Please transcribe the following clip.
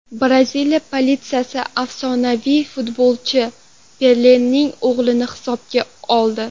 Braziliya politsiyasi afsonaviy futbolchi Pelening o‘g‘lini hibsga oldi.